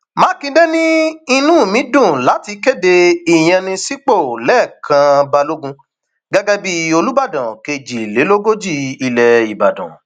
mákindé ní inú mi dùn láti kéde ìyànsípò lẹkàn balógun gẹgẹ bíi olùbàdàn kejìlélógójì ilẹ ìbàdàn